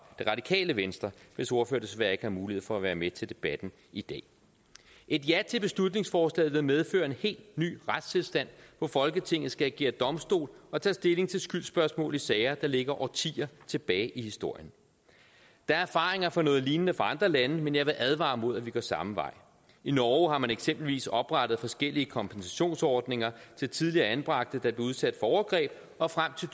det radikale venstre hvis ordfører desværre ikke havde mulighed for at være med til debatten i dag et ja til beslutningsforslaget vil medføre en helt ny retstilstand hvor folketinget skal agere domstol og tage stilling til skyldsspørgsmål i sager der ligger årtier tilbage i historien der er erfaringer fra noget lignende i andre lande men jeg vil advare imod at vi går samme vej i norge har man eksempelvis oprettet forskellige kompensationsordninger til tidligere anbragte der blev udsat for overgreb og frem til